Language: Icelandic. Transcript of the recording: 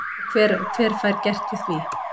Og hver fær gert við því?